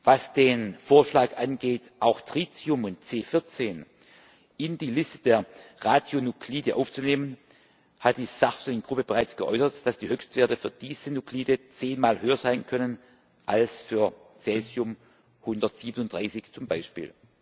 Was den Vorschlag angeht, auch Tritium und C14 in die Liste der Radionuklide aufzunehmen, hat die Sachverständigengruppe bereits geäußert, dass die Höchstwerte für diese Nuklide zehnmal höher sein können als für Cäsium 137 zum Beispiel.